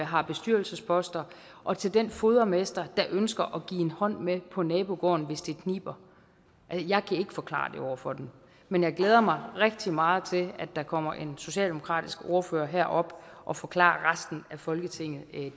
har bestyrelsesposter og til den fodermester der ønsker at give en hånd med på nabogården hvis det kniber jeg kan ikke forklare det over for dem men jeg glæder mig rigtig meget til at der kommer en socialdemokratisk ordfører herop og forklarer resten af folketinget